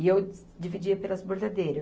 E eu di, dividia pelas bordadeiras.